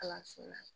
Kalanso la